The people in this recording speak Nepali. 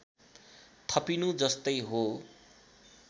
थपिनु जस्तै हो